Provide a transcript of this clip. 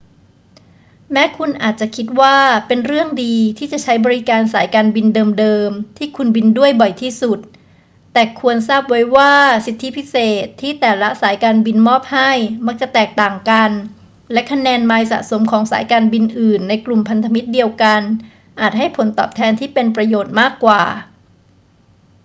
แม้คุณอาจจะคิดว่าเป็นเรื่องดีที่จะใช้บริการสายการบินเดิม ๆ ที่คุณบินด้วยบ่อยที่สุด แต่ควรทราบไว้ว่าสิทธิพิเศษที่แต่ละสายการบินมอบให้มักจะแตกต่างกัน และคะแนนไมล์สะสมของสายการบินอื่นในกลุ่มพันธมิตรเดียวกันอาจให้ผลตอบแทนที่เป็นประโยชน์มากกว่า